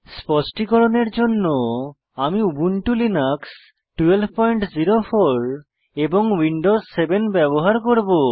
স্পষ্টিকরণের জন্য আমি Ubuntu Linux 1204 এবং উইন্ডোজ 7 ব্যবহার করব